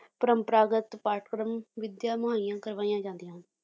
ਪਰੰਪਰਾਗਤ ਪਾਠਕ੍ਰਮ ਵਿਧਿਆ ਮੁਹਈਆ ਕਰਵਾਈਆਂ ਜਾਂਦੀਆਂ ਹਨ